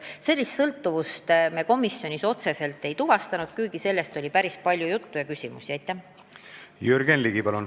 Aga sellist otsest sõltuvust me komisjonis ei tuvastanud, kuigi sellest oli päris palju juttu ja sel teemal esitati ka küsimusi.